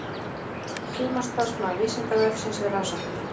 Sumarstarfsmaður Vísindavefsins við rannsóknir.